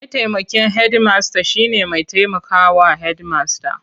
Mataimakin hedimasta shine mai taimaka wa Hedimasta.